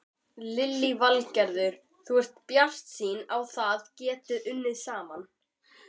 Lillý Valgerður: Þú ert bjartsýnn á þið getið unnið saman?